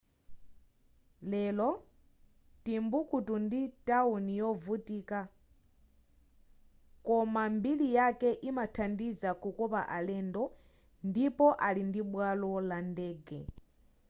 lero timbuktu ndi tawuni yovutika koma mbiri yake imathandiza kukopa alendo ndipo ali ndibwalo la ndege